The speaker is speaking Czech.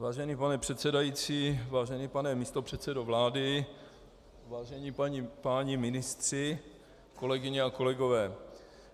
Vážený pane předsedající, vážený pane místopředsedo vlády, vážení páni ministři, kolegyně a kolegové.